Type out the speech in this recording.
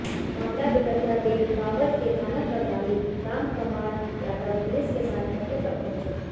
मामला बिगड़ता देख बावल के थाना प्रभारी रामकंवाार यादव पुलिस के साथ मौके पर पहुंचे